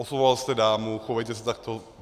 Oslovoval jste dámu, chovejte se takto.